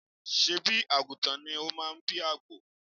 Ṣé̀bí àgùntàn ni ó máa bí àgbò?